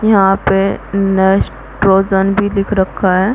यहाँ पे नेस्टोजन भी लिख रखा है।